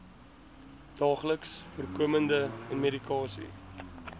daagliks voorkomende medikasie